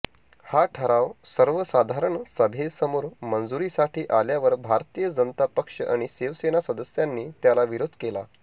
हा ठराव सर्वसाधारण सभेसमोर मंजुरीसाठी आल्यावर भारतीय जनता पक्ष आणि शिवसेना सदस्यांनी त्याला विरोध केला